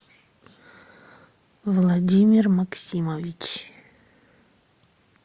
владимир максимович